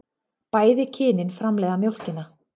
Bæði kynin framleiða mjólkina.